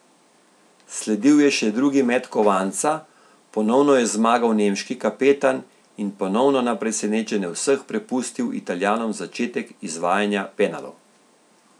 Sledil je še drugi met kovanca, ponovno je zmagal nemški kapetan in ponovno na presenečenje vseh prepustil Italijanom začetek izvajanja penalov.